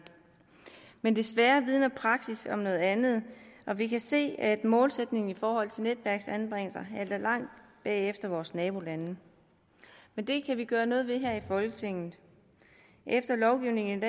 men desværre vidner praksis om noget andet og vi kan se at målsætningen i forhold til netværksanbringelser halter langt bagefter vores nabolande men det kan vi gøre noget ved her i folketinget efter lovgivningen